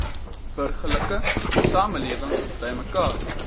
burgerlike samelewing bymekaar